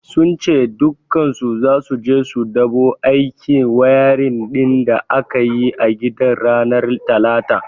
Sun ce dukkansu zasu je su dabu aikin wayarin din da aka yi a gidan ranar talata.